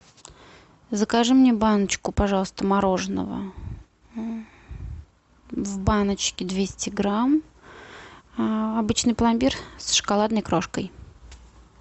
закажи мне баночку пожалуйста мороженого в баночке двести грамм обычный пломбир с шоколадной крошкой